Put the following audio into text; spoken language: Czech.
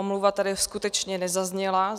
Omluva tady skutečně nezazněla.